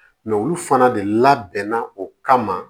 olu fana de labɛnna o kama